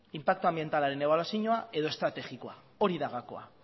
inpaktu anbientalaren ebaluazioa edo estrategikoa hori da gakoa